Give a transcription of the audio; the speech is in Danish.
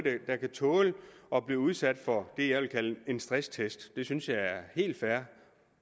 der kan tåle at blive udsat for det jeg vil kalde stresstest det synes jeg er helt fair